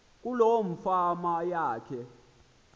kuloo fama yakhe